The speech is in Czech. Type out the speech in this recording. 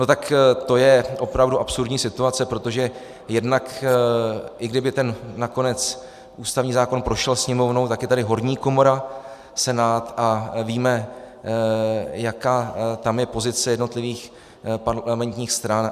No tak to je opravdu absurdní situace, protože jednak i kdyby nakonec ten ústavní zákon prošel Sněmovnou, tak je tady horní komora Senát a víme, jaká tam je pozice jednotlivých parlamentních stran.